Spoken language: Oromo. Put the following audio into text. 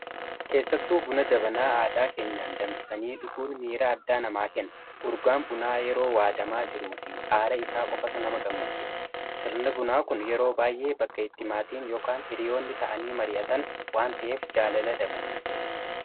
keessattuu buna jabanaa aadaa keenyaan danfisanii dhuguun miira addaa namaa ken urgaan bunaa yeroo waadamaa jiru fi aara isaa qofatu nama gammachiisa sirni bunaa kun yeroo baay'ee bakka ittimaatiin yn hiriyoonni ta'anii marii'atan waan ta'eef jaalala dabala